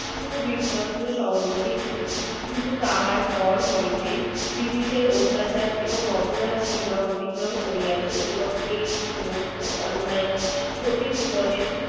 বিশ্বস্ত সহযোগী ছিলেন কিন্তু তাহার পর হইতেই british অত্যাচার এবং অবিচার সীমা অতিক্রম করিয়াছে এবং এই সমস্ত অন্যায়ের ক্ষতি পূরণের ব্রিটিশের অত্যাচার এবং অপরাধ সীমা অতিক্রম করিয়াছে এবং এই সমস্ত অন্যায়ের ক্ষতিপূরনের